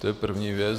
To je první věc.